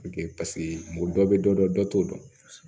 dɔ bɛ dɔ dɔn dɔ t'o dɔn